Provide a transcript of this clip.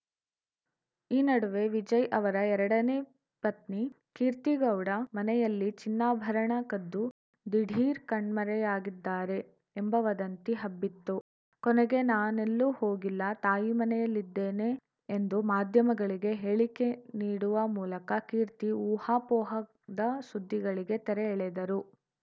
ಈ ನಡುವೆ ವಿಜಯ್‌ ಅವರ ಎರಡನೇ ಪತ್ನಿ ಕೀರ್ತಿಗೌಡ ಮನೆಯಲ್ಲಿ ಚಿನ್ನಾಭರಣ ಕದ್ದು ದಿಢೀರ್‌ ಕಣ್ಮರೆಯಾಗಿದ್ದಾರೆ ಎಂಬ ವದಂತಿ ಹಬ್ಬಿತ್ತು ಕೊನೆಗೆ ನಾನೆಲ್ಲೂ ಹೋಗಿಲ್ಲ ತಾಯಿ ಮನೆಯಲ್ಲಿದ್ದೇನೆ ಎಂದು ಮಾಧ್ಯಮಗಳಿಗೆ ಹೇಳಿಕೆ ನೀಡುವ ಮೂಲಕ ಕೀರ್ತಿ ಊಹಾಪೋಹದ ಸುದ್ದಿಗಳಿಗೆ ತೆರೆ ಎಳೆದರು